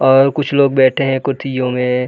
और कुछ लोग बैठे है कुतियों में।